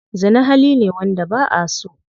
Zina hali ne wanda ba'aso.